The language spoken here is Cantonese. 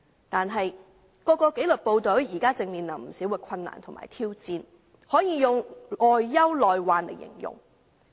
但是，各紀律部隊現正面對不少困難和挑戰，可用外憂內患來形容。